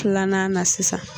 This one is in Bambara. Filanan na sisan